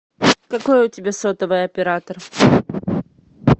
какой у тебя сотовый оператор